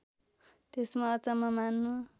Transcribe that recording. त्यसमा अचम्म मान्नु